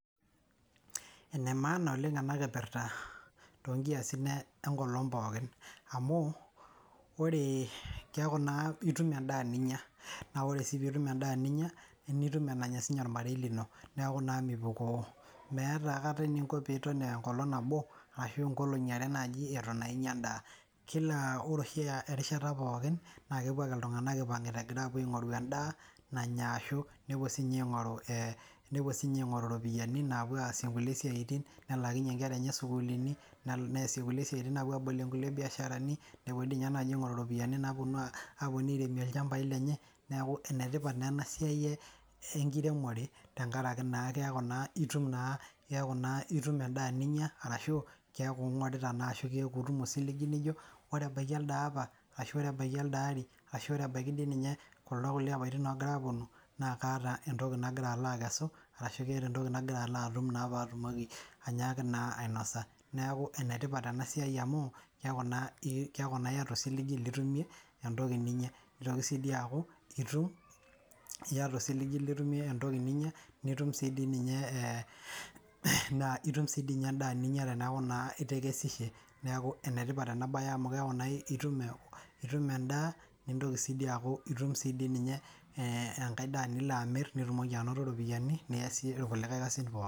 Enemaana oleng ana kipirta toonkiasin enkolong pookin amuu ore, keaku naa irtum enda ninya, naaa ore sii piintum endaa ninya, naa ore sii piitum endaa ninya nitum enenya sii ninye ormarei nilo, neaku naa mipukoo, meatai aikata ninko piton enkolong nabo arashu enkolong'i are naji enitu naa inya endaa, ore oshi erishata pookin naa kepuo ake ltungana eipang'ita aapo aing'uraa indaa nanya ashu nepo sii ninye aing'oru iropiyiani naapuo aasie nkule siatin, nelaakinye inkera enye sukuuli, neasie nkule siatini aapo aabolie nkule biasharani, nepo dei ninye aapo aing'oru iropiyiani naaponu aapo aaremie ilchambai lenye, neaku enetipat naa ena siai enkiremore tengaraki naa keaku naa itum naa endaa ninya arashu kekau ing'orita naa ashu keaku itumo osiligi lijo, ore ebaki alde lapa ashu ore ebaki alde lari, ashu ore ebaki dei ninye kuldo kule lapatin ogira aaponu naa kaata entoki nagira alo akesu, arashu keeta entoki nagira alo atum ainyaaki naa ainosa, naaku enetipat ena siaai amuu keaku naa ieta osiligi litumie entoki ninya, nchoo ake sii dei eaku ieta osiligi litumie entoki ninya, nitum sii dei ninye insdaa, itum sii dei ninye indaa ninya teneaku naa itekesishe, naaku enetipata ena baye amu keaku naa itum endaa nitontoki sii dei aaku itum sii dei ninye enkae daaa nilo amirr, nitumoki anoto iropiyiani nilo aaasie lkulikae kasin pooki.